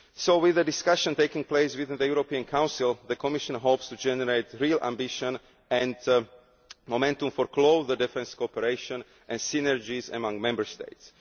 it. So with the discussion taking place within the European Council, the Commission hopes to generate real ambition and momentum for closer defence cooperation and synergies among Member States.